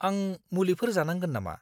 आं मुलिफोर जानांगोन नामा?